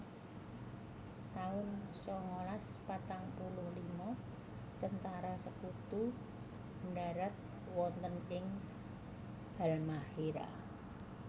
taun sangalas patang puluh lima Tentara Sekutu ndharat wonten ing Halmahéra